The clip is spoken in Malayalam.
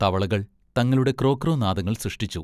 തവളകൾ തങ്ങളുടെ ക്രോ, ക്രോ നാദങ്ങൾ സൃഷ്ടിച്ചു.